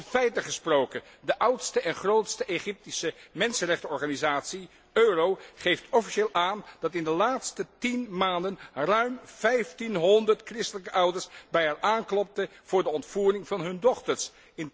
Over de feiten gesproken de oudste en grootste Egyptische mensenrechtenorganisatie Euhro geeft officieel aan dat in de laatste 10 maanden ruim 1500 christelijke ouders bij haar aanklopten voor de ontvoering van hun dochters.